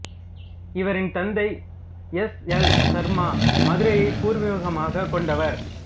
இவரின் தந்தை S L Sharma மதுரையைப் பூர்வீகமாகக் கொண்டவர்